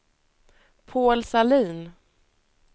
Paul Sahlin